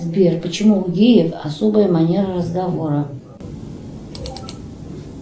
сбер почему у геев особая манера разговора